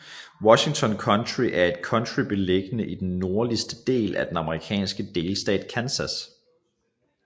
Washington County er et county beliggende i den nordligste del af den amerikanske delstat Kansas